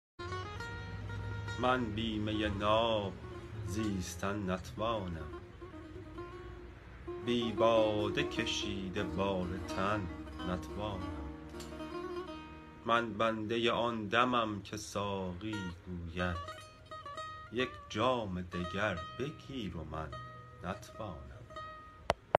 من بی می ناب زیستن نتوانم بی باده کشید بار تن نتوانم من بنده آن دمم که ساقی گوید یک جام دگر بگیر و من نتوانم